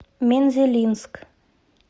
мензелинск